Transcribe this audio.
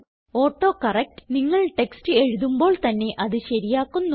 autocorrect നിങ്ങൾ text എഴുതുമ്പോൾ തന്നെ അത് ശരിയാക്കുന്നു